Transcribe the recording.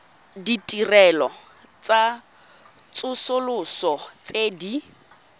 ditirelo tsa tsosoloso tse di